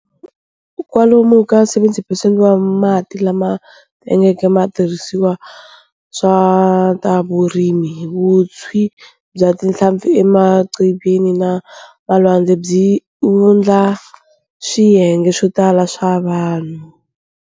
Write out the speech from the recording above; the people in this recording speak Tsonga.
Kwalomu ka 70 percent wa mati lama tengeke ma tirhiseriwa swa tavurimi. Vutshi bya tinhlampfi emaqhivini na malwande, byi wundla swiyenge swotala swa vanhu.